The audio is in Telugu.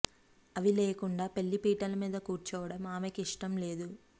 అవి లేకుండా పెళ్లి పీటల మీద కూర్చోవడం ఆమెకు ఇష్టం లేదు